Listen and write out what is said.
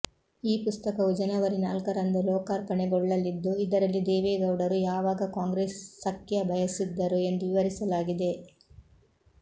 ಈ ಪುಸ್ತಕವು ಜನವರಿ ನಾಲ್ಕರಂದು ಲೋಕಾರ್ಪಣೆಗೊಳ್ಳಲಿದ್ದು ಇದರಲ್ಲಿ ದೇವೇಗೌಡರು ಯಾವಾಗ ಕಾಂಗ್ರೆಸ್ ಸಖ್ಯ ಬಯಸಿದ್ದರು ಎಂದು ವಿವರಿಸಲಾಗಿದೆ